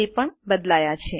તે પણ બદલાયા છે